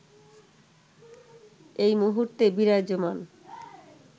এই মুহূর্তে বিরাজমান